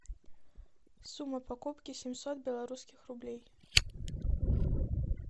сумма покупки семьсот белорусских рублей